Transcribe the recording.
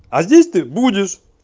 а здесь ты будешь